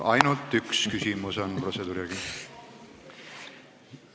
Ainult üks küsimus on protseduurireeglitega igaühele ette nähtud.